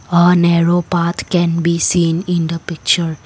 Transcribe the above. a narrow path can be seen in the picture.